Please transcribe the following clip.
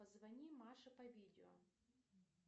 позвони маше по видео